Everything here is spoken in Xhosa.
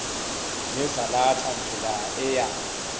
nezalatha ndlela eya